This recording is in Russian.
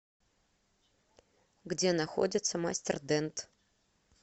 где находится мастер дент